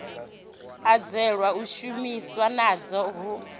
anzelwa u shumiwa nadzo hu